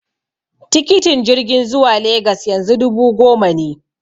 Tikitin jirgin zuwa Legas yanzu dubu goma ne.